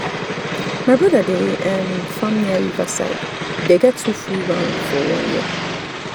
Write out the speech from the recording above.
my brother dey um farm near river side e dey get two full round for one year.